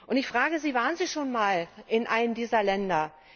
Und ich frage Sie, waren sie schon ein Mal in einem dieser Länder?